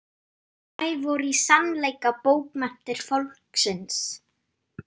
Þær voru í sannleika bókmenntir fólksins.